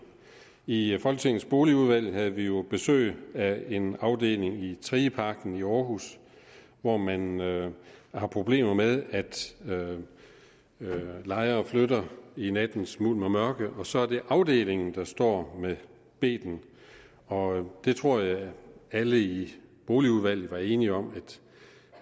i folketingets boligudvalg havde vi jo besøg af en afdeling i trigeparken i aarhus hvor man har problemer med at lejere flytter i nattens mulm og mørke og så er det afdelingen der står med beten og jeg tror at alle i boligudvalget var enige om at